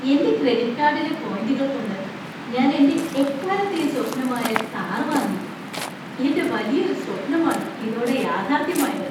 എൻ്റെ ക്രെഡിറ്റ് കാർഡിലെ പോയിന്റുകൾ കൊണ്ട് ഞാൻ എൻ്റെ എക്കാലത്തെയും സ്വപ്നമായ കാർ വാങ്ങി! എൻ്റെ വലിയൊരു സ്വപ്‌നമാണ് ഇതോടെ യാഥാർഥ്യമായത്.